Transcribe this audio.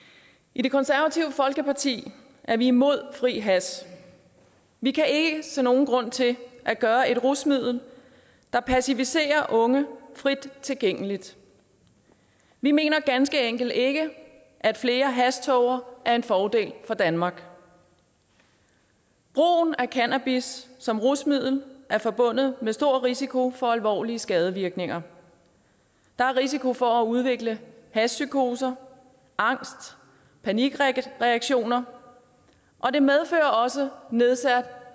i det konservative folkeparti er vi imod fri hash vi kan ikke se nogen grund til at gøre et rusmiddel der passiviserer unge frit tilgængeligt vi mener ganske enkelt ikke at flere hashtåger er en fordel for danmark brugen af cannabis som rusmiddel er forbundet med stor risiko for alvorlige skadevirkninger der er risiko for at udvikle hashpsykoser angst panikreaktioner og det medfører også nedsat